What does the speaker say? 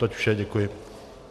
Toť vše, děkuji.